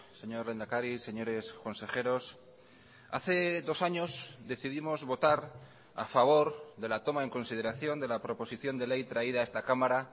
señor lehendakari señores consejeros hace dos años decidimos votar a favor de la toma en consideración de la proposición de ley traída a esta cámara